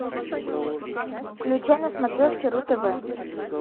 включай на смотрешке ру тв